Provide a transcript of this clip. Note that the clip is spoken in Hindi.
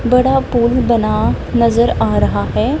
बड़ा पुल बना नजर आ रहा है।